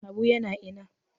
Habu yana ina?